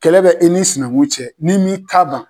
Kɛlɛ bɛ e n'i sinakun cɛ n'i m'i ta ban.